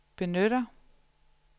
benytter